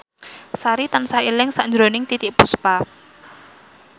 Sari tansah eling sakjroning Titiek Puspa